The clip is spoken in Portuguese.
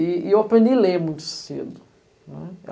E eu aprendi a ler muito cedo, né.